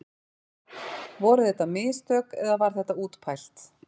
Voru þetta mistök eða var þetta útpælt?